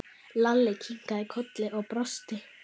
Lalli kinkaði kolli og brosti.